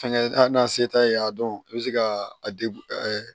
Fɛnkɛ n'a se t'a ye a dɔn i be se ka a degu